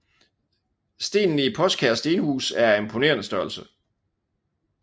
Stenene i Poskær Stenhus er af imponerende størrelse